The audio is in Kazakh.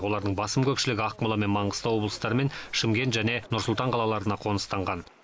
олардың басым көпшілігі ақмола мен маңғыстау облыстары мен шымкент және нұр сұлтан қалаларына қоныстанған